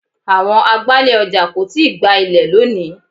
Àwọn agbálẹ̀ ọjà kò tíì gbá ilẹ̀ lónìí.